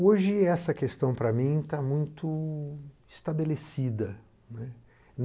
Hoje essa questão para mim está muito estabelecida, né.